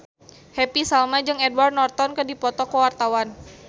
Happy Salma jeung Edward Norton keur dipoto ku wartawan